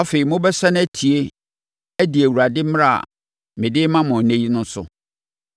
Afei, mobɛsane atie, adi Awurade mmara a mede rema mo ɛnnɛ no so.